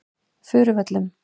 Furuvöllum